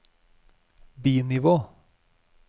bi-nivå